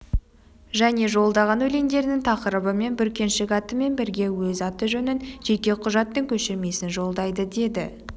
және жолдаған өлеңдерінің тақырыбы мен бүркеншік атымен бірге өз аты-жөнін жеке құжаттың көшірмесін жолдайды деді